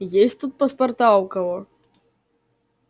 есть тут паспорта у кого